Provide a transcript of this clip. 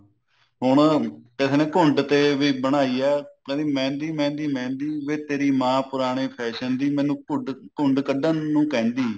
ਹੁਣ ਕਹਿੰਦੇ ਨੇ ਵੀ ਘੁੰਡ ਤੇ ਵੀ ਬਣਾਈ ਐ ਕਹਿੰਦੀ ਮਹਿੰਦੀ ਮਹਿੰਦੀ ਮਹਿੰਦੀ ਵੀ ਤੇਰੀ ਮਾਂ ਪੁਰਾਣੇ fashion ਦੀ ਮੈਨੂੰ ਘੁੰਡ ਕੱਢਣ ਨੂੰ ਕਹਿੰਦੀ